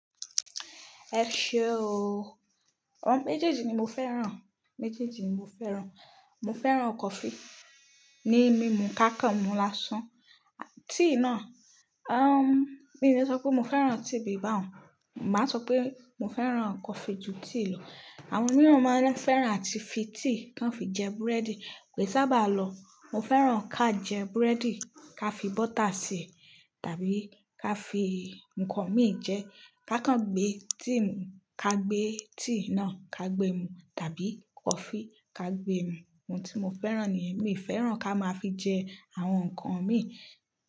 Ẹ ṣe ooo. Àwọn méjèèjì ni mo fẹ́ràn. Méjèèjì ni mo fẹ́ràn. Mo fẹ́ràn coffee, ni mímu ká kàn mu lásán. Tea náà, um, mí ò lè sọ pé mo fẹ́ràn tea bí i báun, màá sọ pé mo fẹ́ràn coffee ju tea lọ. Àwọn mìíràn máa ń fẹ́ràn àti fi tea kan fi jẹ búrẹ́dì. Ké sábà lọ, mo fẹ́ràn ká jẹ búrẹ́dì, ká fi bọ́tà sè, tàbí ká fi nǹkan mí jẹ, ká kàn gbé tea mú, ká gbé tea náà ká gbé mu, tàbí coffee ká gbé mú. Ohun tí mo fẹ́ràn nìyẹn. Èmi fẹ́ràn ká máa fi jẹ àwọn nǹkan mi.